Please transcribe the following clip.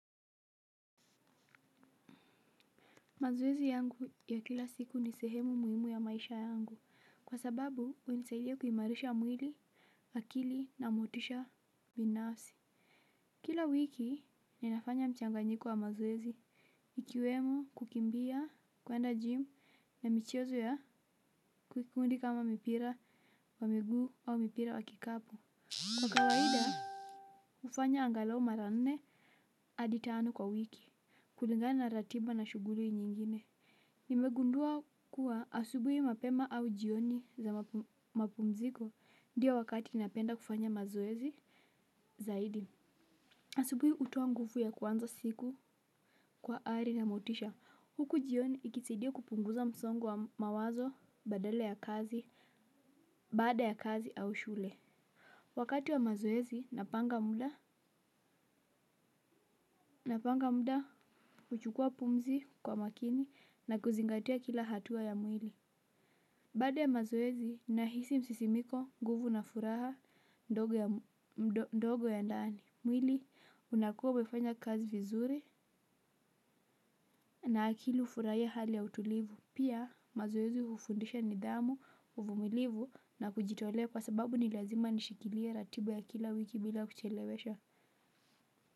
Mazoezi yangu ya kila siku ni sehemu muhimu ya maisha yangu, kwa sababu hunisaidia kuimarisha mwili, akili na motisha binafsi. Kila wiki, ninafanya mchanganyiko wa mazoezi. Ikiwemo kukimbia, kwenda jimu, na michezo ya kikundi kama mipira, wa miguu au mipira wa kikapu. Kwa kawaida, hufanya angalau mara nne, hadi tano kwa wiki, kulingana ratiba na shughuli nyingine. Nimegundua kuwa asubuhi mapema au jioni za mapumziko ndiyo wakati napenda kufanya mazoezi zaidi. Asubuhi hutoa nguvu ya kuanza siku kwa ari na motisha. Huku jioni ikisaidia kupunguza msongo wa mawazo badala ya kazi baada ya kazi au shule wakati wa mazoezi napanga muda. Napanga muda kuchukua pumzi kwa makini na kuzingatia kila hatua ya mwili. Baada ya mazoezi, nahisi msisimiko nguvu na furaha ndogo ya ndani. Mwili, unakua umefanya kazi vizuri na akili hufurahia hali ya utulivu. Pia, mazoezi hufundisha nidhamu, uvumilivu na kujitolea kwa sababu ni lazima nishikilie ratiba ya kila wiki bila kuchelewesha.